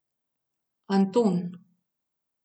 Anton.